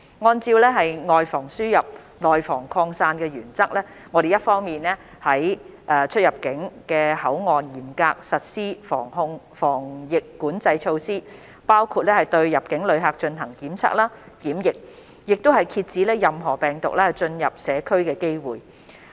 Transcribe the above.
按照"外防輸入，內防擴散"的原則，我們一方面於各出入境口岸嚴格實施防疫管制措施，包括對入境旅客進行檢測、檢疫，遏止任何病毒進入社區的機會。